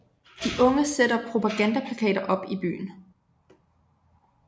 De unge sætter propagandaplakater op i byen